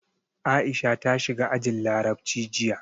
Aisha ta shiga ajin Larabci jiya.